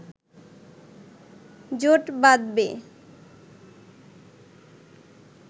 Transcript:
জোট বাঁধবে